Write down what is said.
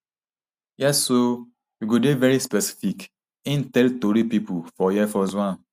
Yes oo we go dey veri specific im tell tori pipo for air force one